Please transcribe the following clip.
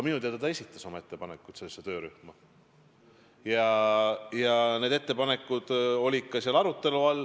Minu teada esitas ta oma ettepanekud selle töörühma jaoks ja need olid ka seal arutelu all.